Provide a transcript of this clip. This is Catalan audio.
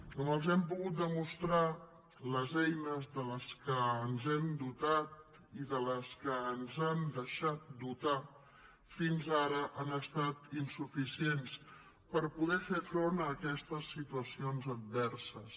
com els hem pogut demostrar les eines de les quals ens hem dotat i de les quals ens han deixat dotar fins ara han estat insuficients per poder fer front a aquestes situacions adverses